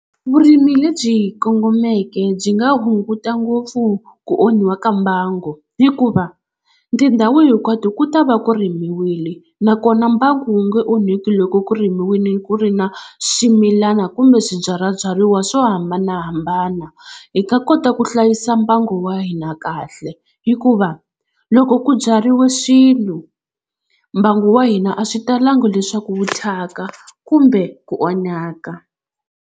Vurimi lebyi kongomeke byi nga hunguta ngopfu ku onhiwa ka mbangu hikuva tindhawu hinkwato ku ta va ku rimiwile nakona mbangu wu nge onhaki loko ku rimiwini ku ri na swimilana kumbe swibyalabyariwa swo hambanahambana hi ta kota ku hlayisa mbangu wa hina kahle hikuva loko ku byariwa swilo mbangu wa hina a swi talanga leswaku wu thyaka kumbe ku onhaka.